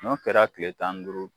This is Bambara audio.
N'o kɛra kile tan ni duuru